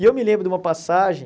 E eu me lembro de uma passagem.